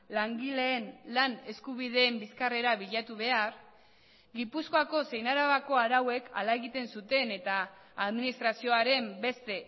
langileen lan eskubideen bizkarrera bilatu behar gipuzkoako zein arabako arauek hala egiten zuten eta administrazioaren beste